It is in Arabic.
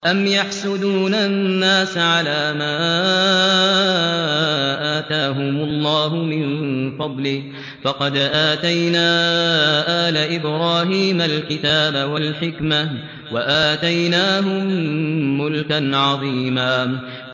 أَمْ يَحْسُدُونَ النَّاسَ عَلَىٰ مَا آتَاهُمُ اللَّهُ مِن فَضْلِهِ ۖ فَقَدْ آتَيْنَا آلَ إِبْرَاهِيمَ الْكِتَابَ وَالْحِكْمَةَ وَآتَيْنَاهُم مُّلْكًا عَظِيمًا